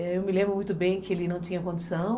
Eu me lembro muito bem que ele não tinha condição.